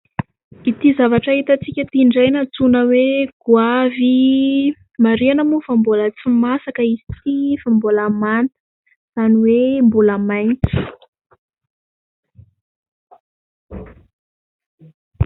Ity zavatra hitantsika ity indray no antsoina hoe"goavy", marihina moa fa mbola tsy masaka izy ity fa mbola manta, izany hoe mbola maitso.